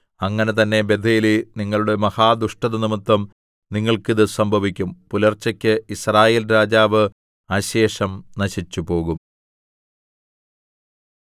അങ്ങനെ തന്നെ ബേഥേലേ നിങ്ങളുടെ മഹാദുഷ്ടതനിമിത്തം നിങ്ങൾക്ക് ഇത് സംഭവിക്കും പുലർച്ചയ്ക്ക് യിസ്രായേൽ രാജാവ് അശേഷം നശിച്ചുപോകും